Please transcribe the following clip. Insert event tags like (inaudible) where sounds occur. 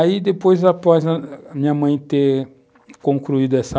Aí depois, após a (hesitation) minha mãe ter concluído essa